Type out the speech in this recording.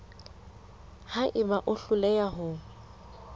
ha eba o hloleha ho